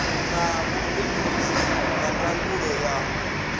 na vhubindudzi na ndangulo ya